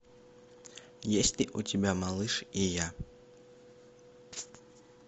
есть ли у тебя малыш и я